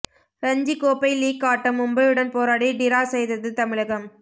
ரஞ்சி கோப்பை லீக் ஆட்டம் மும்பையுடன் போராடி டிரா செய்தது தமிழகம்